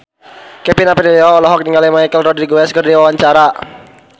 Kevin Aprilio olohok ningali Michelle Rodriguez keur diwawancara